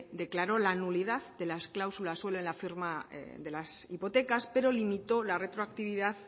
declaró la nulidad de las cláusulas suelo en la firma de las hipotecas pero limitó la retroactividad